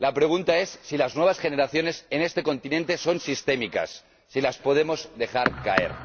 La pregunta es si las nuevas generaciones, en este continente, son sistémicas, si las podemos dejar caer.